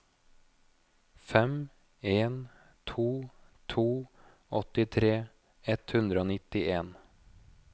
fem en to to åttitre ett hundre og nittien